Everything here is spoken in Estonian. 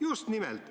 Just nimelt.